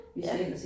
Ja